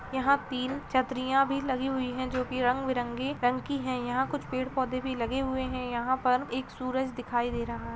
यहाँ तीन छतरियां भी लगी हुई है जो कि रंग-बिरंगी रंग की है यहाँ कुछ पेड़ पौधे भी लगे हुए हैं यहाँ पर एक सूरज दिखाई दे रहा --